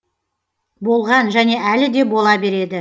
болған және әлі де бола береді